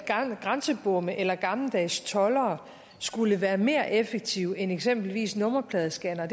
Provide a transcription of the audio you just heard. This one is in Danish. grænsebomme eller gammeldags toldere skulle være mere effektive end eksempelvis nummerpladescannere